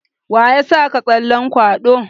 Waya saka tsallen kwaɗo?